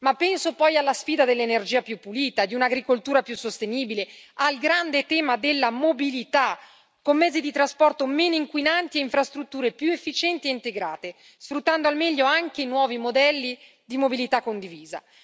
Ma penso poi alla sfida dell'energia più pulita e di un'agricoltura più sostenibile, al grande tema della mobilità, con mezzi di trasporto meno inquinanti e infrastrutture più efficienti e integrate, sfruttando al meglio anche i nuovi modelli di mobilità condivisa.